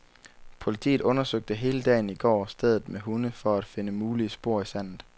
Politiet undersøgte hele dagen i går stedet med hunde for at finde mulige spor i sandet.